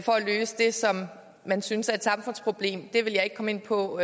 løse det som man synes er et samfundsproblem det vil jeg ikke komme ind på